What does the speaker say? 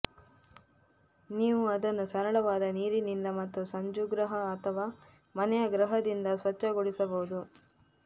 ನೀವು ಅದನ್ನು ಸರಳವಾದ ನೀರಿನಿಂದ ಮತ್ತು ಸ್ಪಂಜುಗೃಹ ಅಥವಾ ಮನೆಯ ಗೃಹದಿಂದ ಸ್ವಚ್ಛಗೊಳಿಸಬಹುದು